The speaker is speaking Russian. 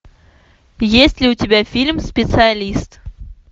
есть ли у тебя фильм специалист